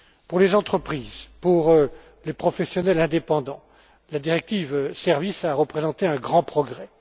Pour les entreprises, pour les professionnels indépendants, la directive Services a représenté un grand progrès.